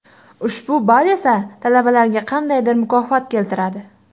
Ushbu ball esa talabalarga qandaydir mukofot keltiradi.